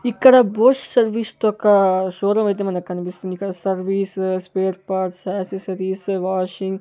ఇక్కడ Bose service తోక్కా showroom అయితే మనకనిపిస్తుంది ఇక్కడ service spare parts accessories washing --